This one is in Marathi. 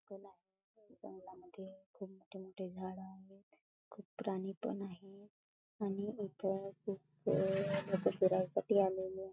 जंगला मध्ये खूप मोठे मोठे झाड आहेत खूप प्राणी पण आहे आणि इथ खूप लोकं फिरायसाठी आलेली आहे .